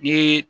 I ye